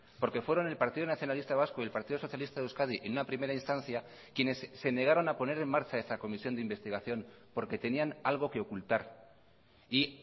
porque fueron el partido nacionalista vasco y el partido socialista de euskadi en una primera instancia quienes se negaron a poner en marcha esta comisión de investigación porque tenían algo que ocultar y